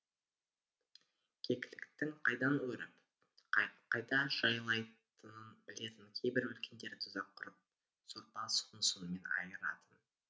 кекіліктің қайдан өріп қайда жайылатынын білетін кейбір үлкендер тұзақ құрып сорпа суын сонымен айыратын